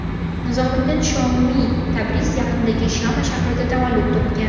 Nizomiddin Shomiy Tabriz yaqinidagi Shama shahrida tavallud topgan.